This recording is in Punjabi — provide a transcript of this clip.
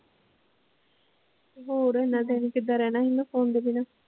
ਹੋਰ ਐਨਾ time ਕਿੱਦਾਂ ਰਹਿਣਾ ਸੀ phone ਦੇ ਬਿਨਾ।